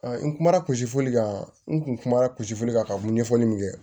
n kumana kulisili kan n kun kumana kulisili kan ka ɲɛfɔli min kɛ